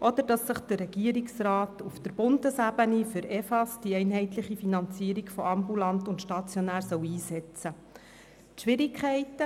oder dass sich der Regierungsrat auf Bundesebene für die «Einheitliche Finanzierung von ambulanten und stationären Leistungen (EFAS)» einsetzen soll.